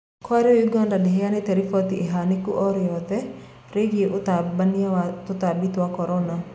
Kwa riu Uganda ndihianite riboti ihaniko o riothe riu ũtambania wa tatambi twa corona.